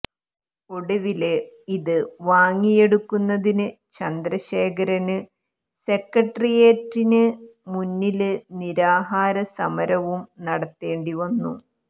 ഒടുവില് ഇത് വാങ്ങിയെടുക്കുന്നതിന് ചന്ദ്രശേഖരന് സെക്രട്ടേറിയറ്റിന് മുന്നില് നിരാഹാര സമരവും നടത്തേണ്ടിവന്നു